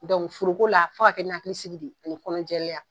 foro ko la f'a ka kɛ ni hakili sigi de ye, ani kɔnɔjɛlenya